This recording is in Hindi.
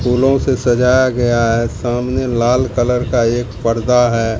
फूलों से सजाया गया है सामने लाल कलर का एक पर्दा है।